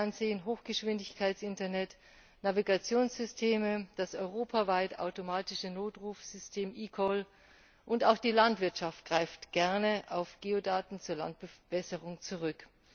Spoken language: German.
das Fernsehen, Hochgeschwindigkeits Internet, Navigationssysteme, das europaweit automatische Notrufsystem eCall, und auch die Landwirtschaft greift gerne auf Geodaten zur Landverbesserung zurück.